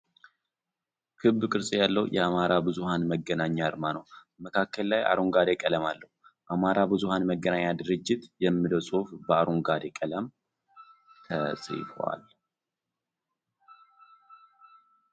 ክብ ቅርጽ ያለው የአማራ ብዙሃን መገናኛ አርማ ነው :: መካከል ላይ አረንጓዴ ቀለም አለው። አማራ ብዙሃን መገናኛ ድርጅት የሚለው ጽሑፍ በአንጓደ ቀለም ተጽፏል ።